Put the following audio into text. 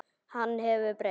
Hann hefur breyst.